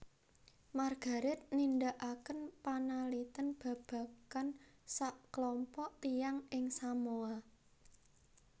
Margaret nindakaken panalitèn babagan saklompok tiyang ing Samoa